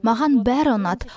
маған бәрі ұнады